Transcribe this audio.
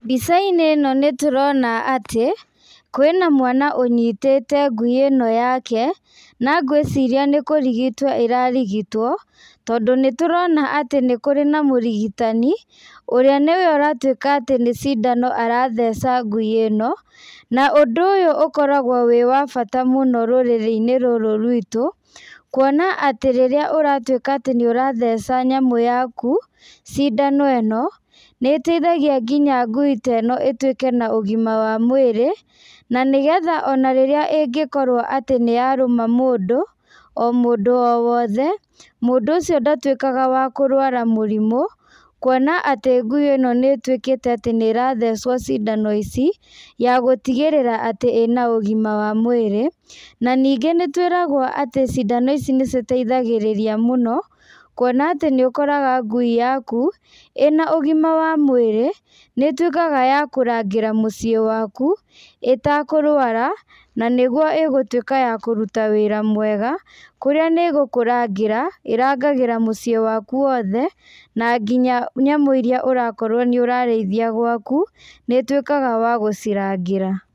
Mbicainĩ ĩno nĩtũrona atĩ, kwĩna mwana ũnyitĩte ngui ĩno yake, na ngwĩciria nĩkũrigĩtwo ĩrarigitwo, tondũ nĩturona atĩ nĩkũrĩ na mũrigitani, ũrĩa nĩwe ũratuĩka atĩ nĩ cindano aratheca ngui ĩno, na ũndũ ũyũ ũkoragwo wĩ wa bata mũno rũrĩrĩinĩ rũrũ rwitũ, kuona atĩ rĩrĩa ũratuĩka atĩ nĩũratheca nyamũ yaku, cindano ĩno, nĩteithagia nginya ngui ta ĩno ituĩke na ũgima wa mwĩrĩ, na nĩgetha ona rĩrĩa ingĩkorwo atĩ nĩyarũma mũndũ, o mũndũ o wothe, mũndũ ũcio ndatuĩkaga wa kũrwara mũrimũ, kuona atĩ ngui ĩno nĩtuĩkĩte atĩ nĩrathecwo cindano ici, ya gũtigĩrĩra atĩ ĩna ũgima wa mwĩrĩ, na ningĩ nĩtwĩragwo atĩ cindano ici nĩciteithagĩrĩria mũno, kuona atĩ nĩũkoraga ngui yaku, ĩna ũgima wa mwĩrĩ, nĩtuĩkaga ya kũrangĩra mũciĩ waku, ĩtakũrwara, na nĩguo ĩgũtuĩka ya kũruta wĩra mwega, kũrĩa nĩgũkũrangĩra, ĩrangagĩra mũciĩ waku wothe, na nginya nyamũ iria ũrakorwo nĩũrarĩithia gwaku, nĩituĩka ya gũcirangĩra.